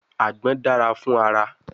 Agbon dara fun ara